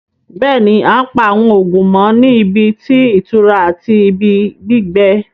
Bẹ́ẹ̀ni, àn pa awọn oogun mọ̀ ní ìbí tí itura àti ìbí gbígbẹ̀